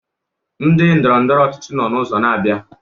Ndị ndọrọ ndọrọ ọchịchị nno n'ụzọ na-abịa.